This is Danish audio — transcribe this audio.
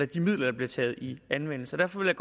de midler der bliver taget i anvendelse derfor vil